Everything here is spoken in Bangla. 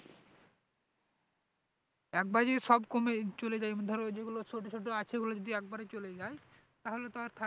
একবারে যদি সব কমে চলে যাই ধরো যেগুলো ছোটো ছোটো আছে ওগুলো যদি একেবারেই চলে যাই তাহলে তো আর থাক